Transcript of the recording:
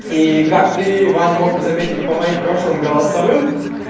и как ты ваня мог заметить по моим прошлым голосовым